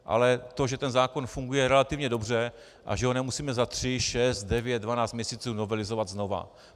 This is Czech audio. Ale to, že ten zákon funguje relativně dobře a že ho nemusíme za tři, šest, devět, dvanáct měsíců novelizovat znova.